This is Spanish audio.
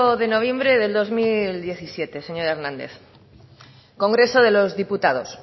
de noviembre de dos mil diecisiete señor hernández congreso de los diputados